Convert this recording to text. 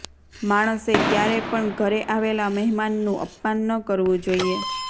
માણસે ક્યારે પણ ઘરે આવેલા મહેમાનનુ અપમાન ન કરવું જોઈએ